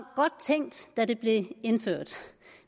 godt tænkt da det blev indført